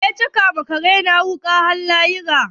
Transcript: Wa ya caka wa kare na wuƙa har lahira?